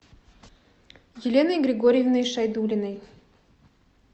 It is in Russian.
еленой григорьевной шайдуллиной